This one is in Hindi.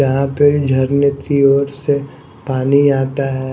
यहा पे झरने की ओर से पानी आता है।